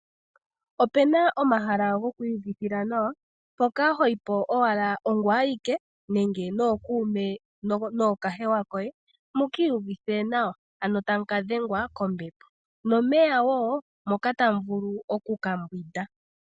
Opena omahala goku kwii uvithila nawa mpoka hoyi po owala ongoye awike nenge nokuume nookahewa koye mu kiiyuvithe nawa, ano tamu kadhengwa kombepo nomeya wo moka tamuvulu oku kambwinda.